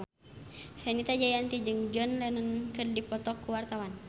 Fenita Jayanti jeung John Lennon keur dipoto ku wartawan